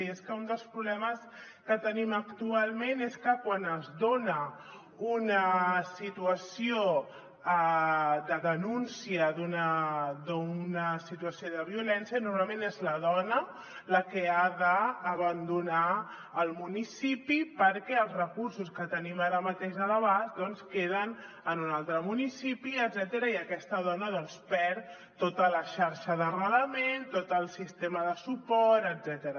i és que un dels problemes que tenim actualment és que quan es dona una situació de denúncia d’una situació de violència normalment és la dona la que ha d’abandonar el municipi perquè els recursos que tenim ara mateix a l’abast queden en un altre municipi etcètera i aquesta dona doncs perd tota la xarxa d’arrelament tot el sistema de suport etcètera